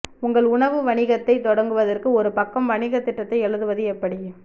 உங்கள் உணவு வணிகத்தை தொடங்குவதற்கு ஒரு பக்கம் வணிகத் திட்டத்தை எழுதுவது எப்படி